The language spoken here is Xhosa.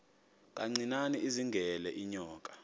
kancinane izingela iinyoka